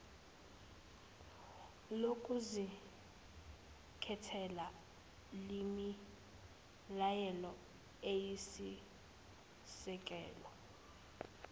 lokuzikhethela lemilayelo iyisisekelo